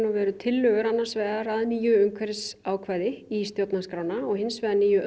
og veru tillögur annars vegar að nýju umhverfisákvæði í stjórnarskrána og hins vegar nýju